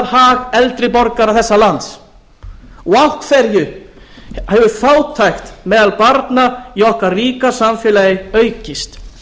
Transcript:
hag eldri borgara þessa lands og af hverju hefur fátækt meðal barna í okkar ríka samfélagi aukist